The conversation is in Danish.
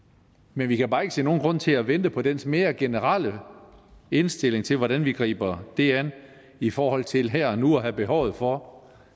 men vi kan bare ikke se nogen grund til at vente på dens mere generelle indstilling til hvordan vi griber det an i forhold til her og nu at have behovet for